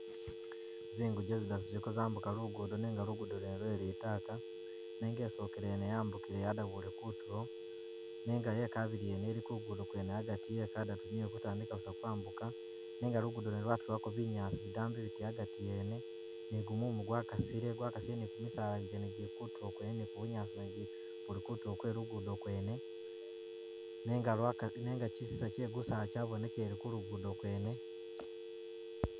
Zingije zidatu ziliko zambuga lugudo nenga lugudo lwene lwe litaka nenga isokele yene yambukile yadabuye kutulo nenga yekabili yene ili ku’lugudo yekadatu niyo ikutandika busa kwambuka nenga lugudo lwene lwatulako binyaasi bidambi biti agati yene ni gumumu gwakasile gwakasile ni kumisala jene jili kutulo kwene ni kubunyaasi kwene buli kutulo kwene nenga kyisisa kye gusala kyabonekelele kulugudo kwene.